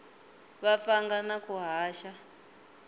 va pfanga na ku haxa